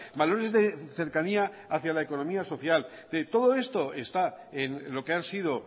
valores de cercanía hacia la economía social todo esto está en lo que han sido